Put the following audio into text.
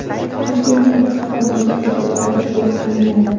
Toshkentning bir qator markaziy ko‘chalari to‘liq ta’mirlanadi.